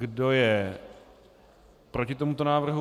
Kdo je proti tomuto návrhu?